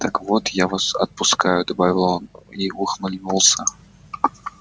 так вот я вас отпускаю добавил он и ухмыльнулся